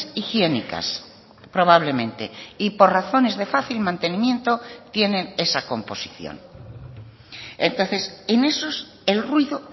higiénicas probablemente y por razones de fácil mantenimiento tienen esa composición entonces en esos el ruido